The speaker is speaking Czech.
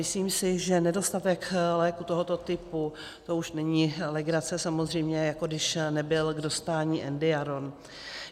Myslím si, že nedostatek léků tohoto typu, to už není legrace, samozřejmě jako když nebyl k dostání Endiaron.